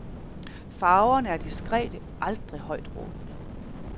Farverne er diskrete, aldrig højtråbende.